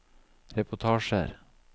reportasjer